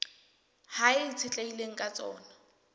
hao e itshetlehileng ka tsona